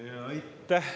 Aitäh!